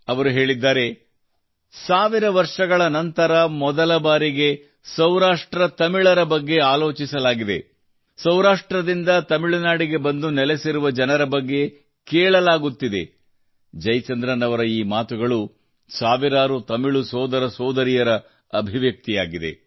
ಅವರು ಹೇಳಿದ್ದಾರೆ ಸಾವಿರ ವರ್ಷಗಳ ನಂತರ ಮೊದಲ ಬಾರಿಗೆ ಸೌರಾಷ್ಟ್ರತಮಿಳರ ಬಗ್ಗೆ ಆಲೋಚಿಸಲಾಗಿದೆ ಸೌರಾಷ್ಟ್ರದಿಂದ ತಮಿಳುನಾಡಿಗೆ ಬಂದು ನೆಲೆಸಿರುವ ಜನರ ಬಗ್ಗೆ ಕೇಳಲಾಗುತ್ತಿದೆ ಜಯಚಂದ್ರನ್ ಅವರು ಈ ಮಾತುಗಳು ಸಾವಿರಾರು ತಮಿಳು ಸೋದರಸೋದರಿಯರ ಅಭಿವ್ಯಕ್ತಿಯಾಗಿದೆ